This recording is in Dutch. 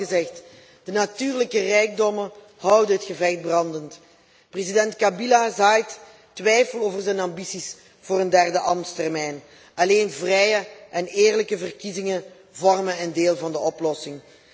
Het is hier al gezegd de natuurlijke rijkdommen houden het gevecht brandend. President Kabila zaait twijfel over zijn ambities voor een derde ambtstermijn. Alleen vrije en eerlijke verkiezingen vormen een deel van de oplossing.